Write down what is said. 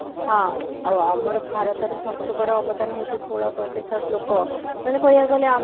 ହଁ ଆଉ ଆମର ଭାରତରେ ସବୁଠୁ ବଡ ଅବଦାନ ହଉଛି ଷୋହଳ ପ୍ରତିଶତ ଲୋକ ମାନେ କହିବାକୁ ଗଲେ ଆମେ